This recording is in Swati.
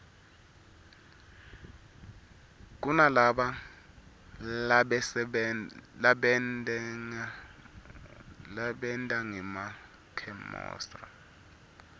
kunalaba sebentangema khemosra